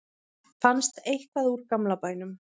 fannst eitthvað úr gamla bænum